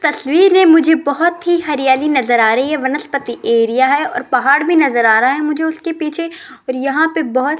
तस्वीर है मुझे बहोत ही हरियाली नजर आ रही है वनस्पति एरिया है और पहाड़ भी नजर आ रहा है मुझे उसके पीछे और यहां पे बहोत --